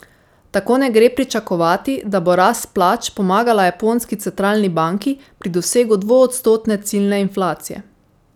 Tako ne gre pričakovati, da bo rast plač pomagala japonski centralni banki pri dosegu dvoodstotne ciljne inflacije.